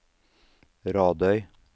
Radøy